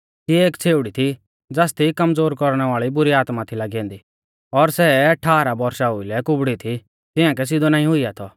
तिऐ एक छ़ेउड़ी थी ज़ासदी कमज़ोर कौरणै वाल़ी बुरी आत्मा थी लागी ऐन्दी और सै ठाहरा बौरशा ओउलै कुबड़ी थी तिआंकै सिधौ नाईं हुइया थौ